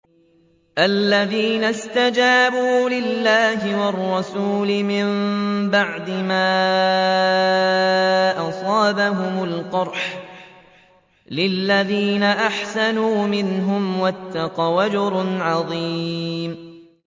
الَّذِينَ اسْتَجَابُوا لِلَّهِ وَالرَّسُولِ مِن بَعْدِ مَا أَصَابَهُمُ الْقَرْحُ ۚ لِلَّذِينَ أَحْسَنُوا مِنْهُمْ وَاتَّقَوْا أَجْرٌ عَظِيمٌ